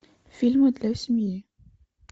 фильмы для семьи